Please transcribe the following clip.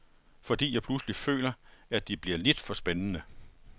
Fordi jeg pludselig føler, at det bliver lidt for spændende.